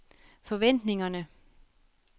forventningerne